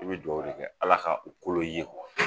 I bi duwawu de kɛ Ala ka u kolon i ye